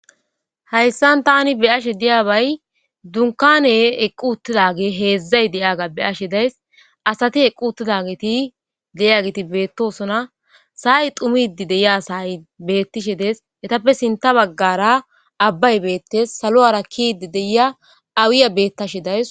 hayssan tani beyashe diya bay dunkane eqqu uttidage heedzdzay de7aga be ashe days asati eqqu uttida geti de7iya geti beettosona saay tumidi deyiya saay beettishe dees etappe sinta baggara abbay beettes salo7ara kiidi deyia awiya bettashe days